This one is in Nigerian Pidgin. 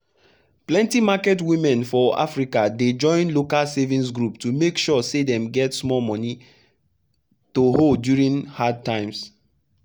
plenty market women for africa dey join local savings group to make sure say dem get small money to hold during hard times.